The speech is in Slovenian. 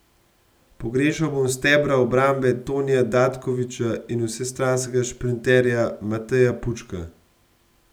Pogrešal bo stebra obrambe Tonija Datkovića in vsestranskega šprinterja Mateja Pučka.